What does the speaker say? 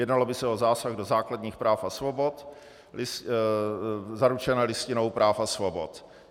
Jednalo by se o zásah do základních práv a svobod zaručených Listinou práv a svobod.